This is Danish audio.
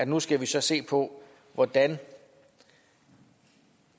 nu skal vi så se på hvordan vi